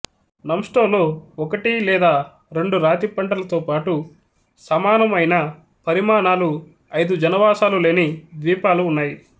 నమ్ట్సోలో ఒకటి లేదా రెండు రాతి పంటలతో పాటు సమానము అయినా పరిమాణాలు ఐదు జనావాసాలు లేని ద్వీపాలు ఉన్నాయి